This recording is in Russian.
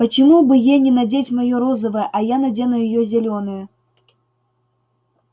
почему бы ей не надеть моё розовое а я надену её зелёное